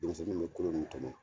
Denmisɛnnin bɛ kolo min tɔmɔ